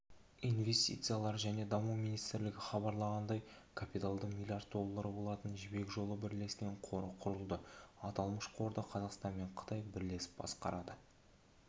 инвестициялар және даму министрлігі хабарлағандай капиталы млрд доллары болатын жібек жолы бірлескен қоры құрылды аталмыш қорды қазақстан мен қытай бірлесіп басқарады